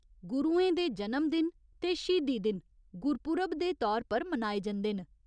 गुरुएं दे जनम दिन ते श्हीदी दिन गुरपूरब दे तौर पर मनाए जंदे न।